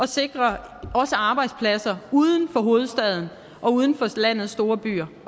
sikre arbejdspladser uden for hovedstaden og uden for landets store byer